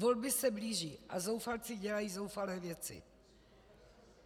Volby se blíží a zoufalci dělají zoufalé věci.